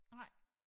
Nej